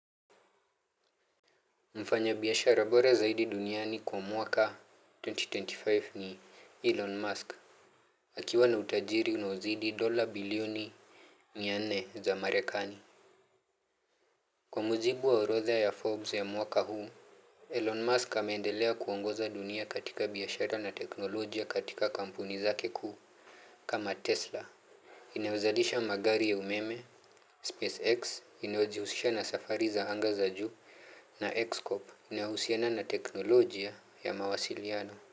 Mfanya biashara bora zaidi duniani kwa mwaka elfu mbili na ishirini na tano ni Elon Musk. Akiwa na utajiri unaozidi dola bilioni mia nne za marekani. Kwa mujibu wa orodha ya Forbes ya mwaka huu, Elon Musk ameendelea kuongoza dunia katika biashara na teknolojia katika kampuni zake kuu kama Tesla. Inewezadisha magari ya umeme, SpaceX inayojihusisha na safari za anga za juu na XCOP inayohusiana na teknolojia ya mawasiliano.